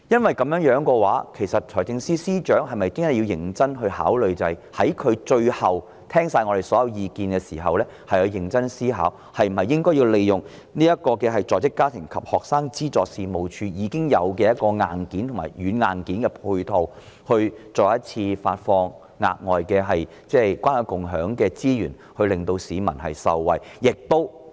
有鑒於此，財政司司長是否應在聽取議員的所有意見後，認真思考利用在職家庭及學生資助事務處這個現有的軟硬件配套，再次在關愛共享計劃下發放資源，讓市民受惠？